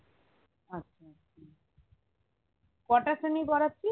আচ্ছা কটা পড়াচ্ছিস